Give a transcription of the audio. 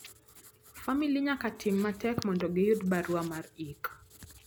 famili nyaka tim matek mondo giyud barua mar ik